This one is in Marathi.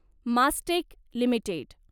मास्टेक लिमिटेड